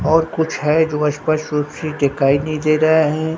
और कुछ है जो स्पष्ट रूप से दिखाई नहीं दे रहा है।